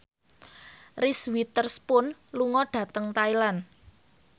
Reese Witherspoon lunga dhateng Thailand